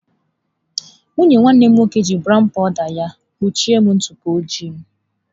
Nwunye nwanne m nwoke ji brown powụda ya kpuchie m ntụpọ ojii.